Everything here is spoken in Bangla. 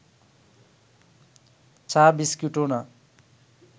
চা বিস্কুটও না